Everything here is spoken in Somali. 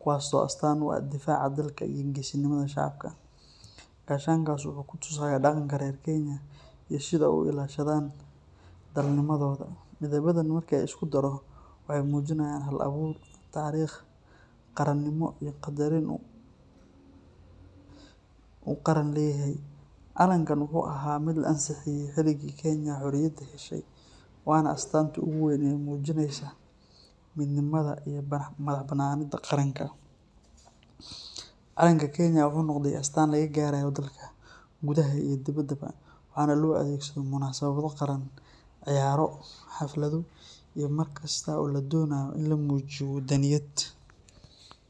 kuwaasoo astaan u ah difaaca dalka iyo geesinimada shacabka. Gaashaankaas wuxuu ku tusayaa dhaqanka reer Kenya iyo sida ay u ilaashadaan dalnimadooda. Midabadan marka la isku daro waxay muujinayaan hal-abuur, taariikh, qaranimo, iyo qaddarin uu qaran leeyahay. Calankan wuxuu ahaa mid la ansixiyey xilligii Kenya xorriyadda heshay, waana astaanta ugu weyn ee muujinaysa midnimada iyo madax-bannaanida qaranka. Calanka Kenya wuxuu noqday astaan laga garanayo dalka, gudaha iyo dibaddaba, waxaana loo adeegsadaa munaasabado qaran, ciyaaro, xaflado iyo mar kasta oo la doonayo in la muujiyo wadaniyad.